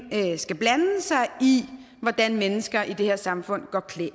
skal blande sig i hvordan mennesker i det her samfund går klædt